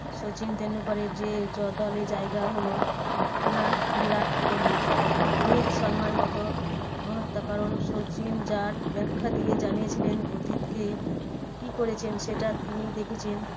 সচিন টেন্ডুলকারের যে দলের জায়গা হলো না বিরাট কোহলির। রোহিত শর্মার মতো মহত্বকরণ সচিন যার ব্যাখ্যা দিয়ে জানিয়েছিলেন অতীতকে কি করেছেন সেটা তিনি দেখেছেন